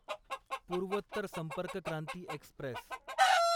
पूर्वोत्तर संपर्क क्रांती एक्स्प्रेस